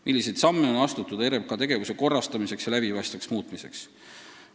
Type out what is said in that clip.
Milliseid samme on astutud RMK tegevuse korrastamiseks ja läbipaistvaks muutmiseks?